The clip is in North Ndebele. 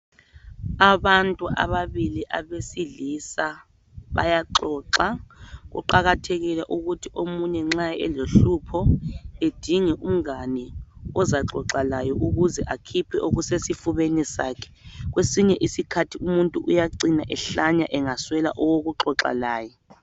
Abantu ababili abesilisa bayaxoxa. Kuqakathekile ukuthi omunye nxa elohlupho edinge umngane ozaxoxa laye ukuze akhiphe okusesifubeni sakhe. Kwesinye isikhathi umuntu uyacina ehlanya engaswela owokuxoxa laye.